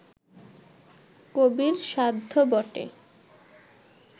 কবির সাধ্য বটে